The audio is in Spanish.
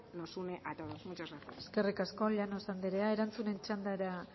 nos une a todos muchas gracias eskerrik asko llanos anderea erantzunen txandara